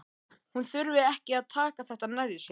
Hún þurfi ekki að taka þetta nærri sér.